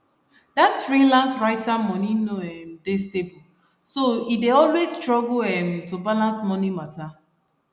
that freelance writer money no um dey stable so e dey always struggle um to balance money matter